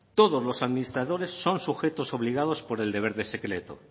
todos los administradores son sujetos obligados por el deber de secreto